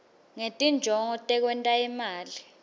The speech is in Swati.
ngetinjongo tekwenta imali